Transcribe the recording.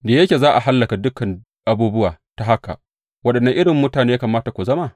Da yake za a hallaka dukan abubuwa ta haka, waɗanne irin mutane ne ya kamata ku zama?